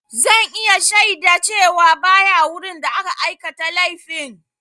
Zan iya shaida cewa ba ya wurin da aka aikata laifin.